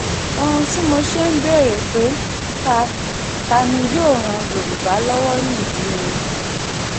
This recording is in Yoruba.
ohun tí mo ṣe ń béèrè pé ta ta ni yóò ran yorùbá lọ́wọ́ nìyí o